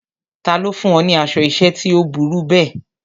Ta ló fún ọ ní aṣọ ìṣẹ́ tí ó burú bẹ́ẹ̀?